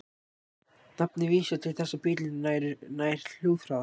Nafnið vísar til þess að bíllinn nær hljóðhraða.